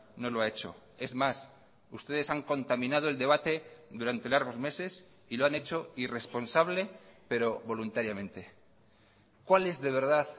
no lo ha hecho es más ustedes han contaminado el debate durante largos meses y lo han hecho irresponsable pero voluntariamente cuál es de verdad